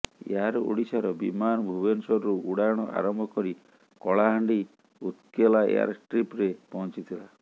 air ଓଡ଼ିଶାର ବିମାନ ଭୁବନେଶ୍ୱରରୁ ଉଡ଼ାଣ ଆରମ୍ଭ କରି କଳାହାଣ୍ଡି ଉତ୍କେଲା ଏୟାରଷ୍ଟ୍ରିପରେ ପହଞ୍ଚିଥିଲା